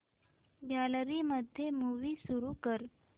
gallery मध्ये movie सुरू कर